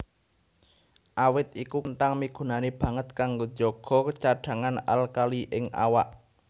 Awit iku kenthang migunani banget kanggo njaga cadhangan alkali ing awak